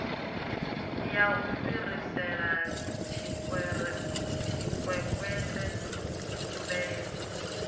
ya u fhirisela tshikwekwete muhumbeli